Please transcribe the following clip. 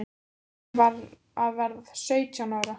Ég var að verða sautján ára.